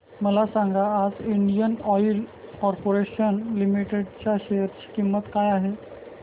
मला सांगा आज इंडियन ऑइल कॉर्पोरेशन लिमिटेड च्या शेअर ची किंमत काय आहे